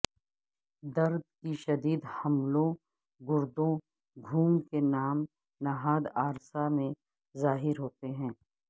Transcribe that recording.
درد کی شدید حملوں گردوں گھوم کے نام نہاد عارضہ میں ظاہر ہوتے ہیں